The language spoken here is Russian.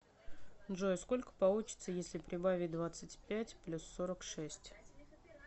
джой сколько получится если прибавить двадцать пять плюс сорок шесть